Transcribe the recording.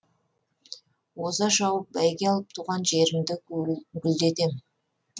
оза шауып бәйге алып туған жерімді гүлдетем